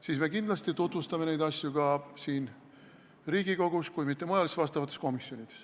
Siis me kindlasti tutvustame neid asju ka siin Riigikogus, kui mitte mujal, siis vastavates komisjonides.